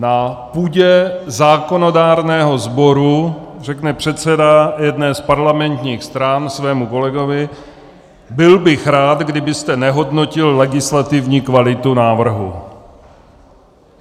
Na půdě zákonodárného sboru řekne předseda jedné z parlamentních stran svému kolegovi: "Byl bych rád, kdybyste nehodnotil legislativní kvalitu návrhu."